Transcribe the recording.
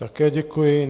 Také děkuji.